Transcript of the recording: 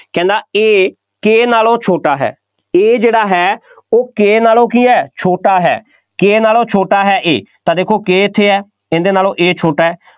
A K ਨਾਲੋਂ ਛੋਟਾ ਹੈ A ਜਿਹੜਾ ਹੈ ਉਹ K ਨਾਲੋਂ ਕੀ ਹੈ, ਛੋਟਾ ਹੈ K ਨਾਲੋਂ ਛੋਟਾ ਹੈ A ਤਾਂ ਦੇਖੋ K ਇੱਥੇ ਹੈ, ਇਹਦੇ ਨਾਲੋਂ A ਛੋਟਾ ਹੈ,